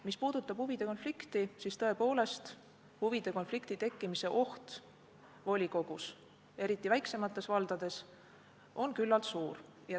Mis puudutab huvide konflikti, siis tõepoolest, huvide konflikti tekkimise oht volikogus, eriti väiksemates valdades, on küllaltki suur.